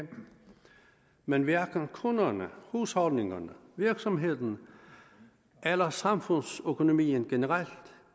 men hverken kunderne husholdningerne virksomhederne eller samfundsøkonomien generelt